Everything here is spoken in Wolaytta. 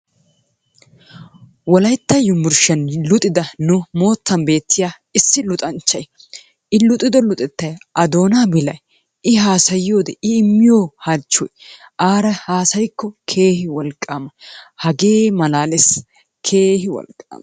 Wolaytta unburshiyaanni luxiddaa nu mottanni betiyaa issi luxanchayi i luxiddo luxettayi,a donaa bilaay,i hasayiowodee,i imiyoo halchoy araa hasayikoo keehi woliqamaa, hagee malalles, kehi wolqama.